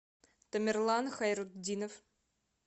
тамерлан хайрутдинов